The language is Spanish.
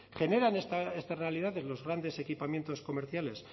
generan estas realidades los grandes equipamientos comerciales